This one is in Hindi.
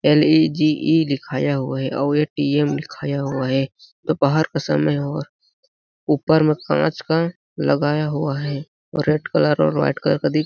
एलईजीई लिखाया हुआ है और ए_टी_एम लिखाया हुआ है दोपहर का समय और ऊपर में कांच का लगाया हुआ है और रेड कलर और वाइट कलर क --